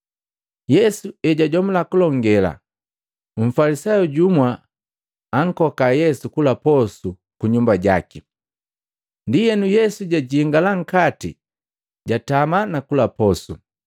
Yesu ejajomula kulongela, Mfalisayu jumwa ankoka Yesu kula posu ku nyumba jaki. Ndienu Yesu jajingala nkati jatama nakula posu.